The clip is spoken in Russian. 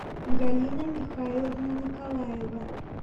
галина михайловна николаева